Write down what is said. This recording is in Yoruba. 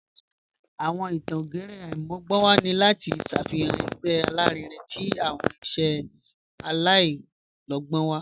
Awọn ìtàn ògérè aimọgbọnwa ni lati ṣáfihan ẹ̀gbẹ̀ alárìínrìn tí awọn iṣẹ̀ aláìlọ̀gbọn."